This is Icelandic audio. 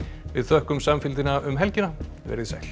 við þökkum samfylgdina um helgina veriði sæl